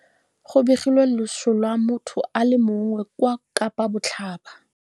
Go begilwe loso lwa motho a le mongwe kwa Kapa Botlhaba.